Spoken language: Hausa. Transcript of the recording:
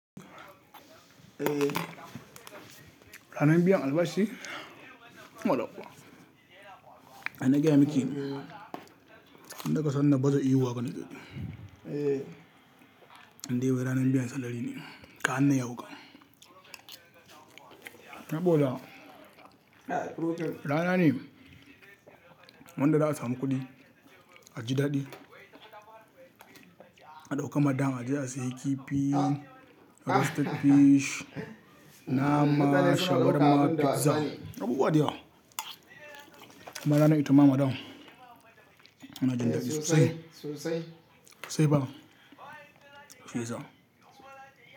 Ranar biyan albashi. Baɗa ƙuwa. Ai na gaya miki yan da kika san na baza ihu haka nike. Indai ranar biyan salary ne, ka hana ya wuƙa. Saboda rana ne, wanda za a samu kuɗi, aji daɗi, a ɗauka madam a je a sayi kifi, roasted fish, nama, shawarma, pizza. Abu buwa da yawa. Kuma ranar ita ma madam. Muna jin daɗi sosai. Sosai fa, shiyasa.